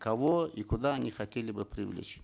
кого и куда они хотели бы привлечь